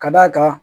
Ka d'a kan